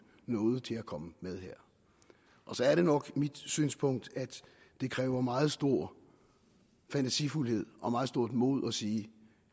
nåde til at komme med her så er det nok mit synspunkt at det kræver meget stor fantasifuldhed og meget stort mod at sige